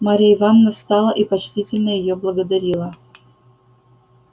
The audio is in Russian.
марья ивановна встала и почтительно её благодарила